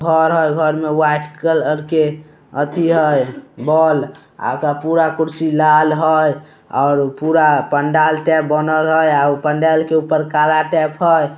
घर हई घर में व्हाइट कलर के अथे हई बोल आका पूरा कुर्शी लाल हई और पूरा पंडाल ते बोल अय और पंडाल के ऊपर काला टेप हय ।